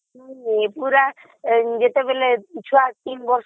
ଏଗୁଡା ଯେତେବେଳେ ଛୁଆ ତିନି ବର୍ଷର